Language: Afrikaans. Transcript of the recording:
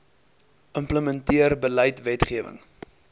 implementeer beleid wetgewing